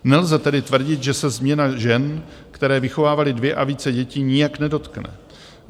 Nelze tedy tvrdit, že se změna žen, které vychovávaly dvě a více dětí, nijak nedotkne.